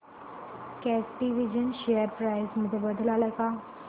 कॅटविजन share price मध्ये बदल आलाय का